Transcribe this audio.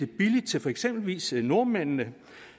billigt til eksempelvis nordmændene